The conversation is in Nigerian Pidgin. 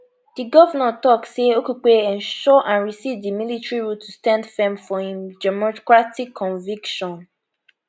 di govnor tok say okupe ensure and resist di military rule to stand firm for im democratic conviction